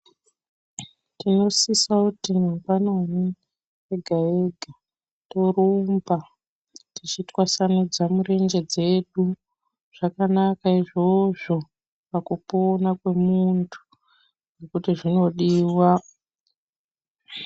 Tinososia kuti mangwanani ega ega torumba teitwasanudza mirenje dzedu zvakanaka izvozvi pakupona kwemuntu ngekuti zVinodiwa.